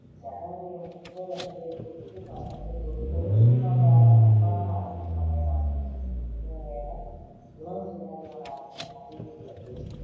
ஜனவரி முப்பது அன்று, இத்தொற்றுப் பரவலை ஒரு பொது சுகாதாரப் பன்னாட்டு அவசரநிலையாக என உலக சுகாதார அமைப்பு அறிவித்தது.